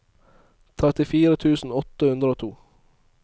trettifire tusen åtte hundre og to